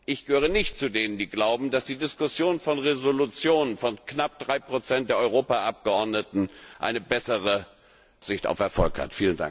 Ich gehöre nicht zu denen, die glauben, dass die Diskussion von Resolutionen von knapp 3 der Europaabgeordneten eine bessere Aussicht auf Erfolg hat.